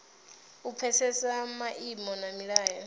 u pfesesa maimo na milayo